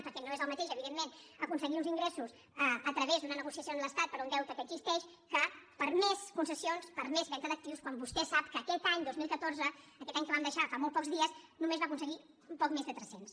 perquè no és el mateix evidentment aconseguir uns ingressos a través d’una negociació amb l’estat per un deute que existeix que per més concessions per més venda d’actius quan vostè sap que aquest any dos mil catorze aquest any que vam deixar fa molt pocs dies només va aconseguir ne poc més de tres cents